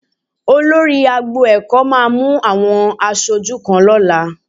Olórí agbo ẹ̀kọ́ máa àwọn aṣojú kan lọ́la